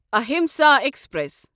Ahimsa express